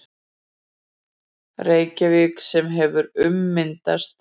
Reykjavík sem hefur ummyndast